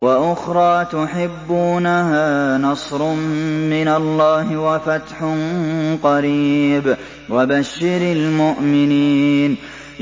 وَأُخْرَىٰ تُحِبُّونَهَا ۖ نَصْرٌ مِّنَ اللَّهِ وَفَتْحٌ قَرِيبٌ ۗ وَبَشِّرِ الْمُؤْمِنِينَ